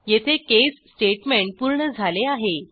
येथे caseस्टेटमेंट पूर्ण झाले आहे